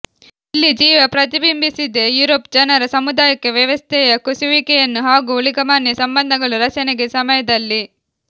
ಇಲ್ಲಿ ಜೀವ ಪ್ರತಿಬಿಂಬಿಸಿದೆ ಯುರೋಪ್ ಜನರ ಸಾಮುದಾಯಿಕ ವ್ಯವಸ್ಥೆಯ ಕುಸಿಯುವಿಕೆಯನ್ನು ಹಾಗೂ ಊಳಿಗಮಾನ್ಯ ಸಂಬಂಧಗಳು ರಚನೆಗೆ ಸಮಯದಲ್ಲಿ